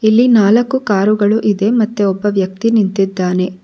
ಇಲ್ಲಿ ನಾಲ್ಕು ಕಾರು ಇದೆ ಮತ್ತು ಒಬ್ಬ ವ್ಯಕ್ತಿ ನಿಂತಿದ್ದಾನೆ.